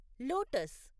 lotus